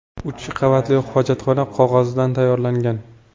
U uch qavatli hojatxona qog‘ozidan tayyorlangan.